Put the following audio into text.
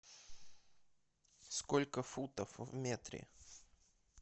сколько футов в метре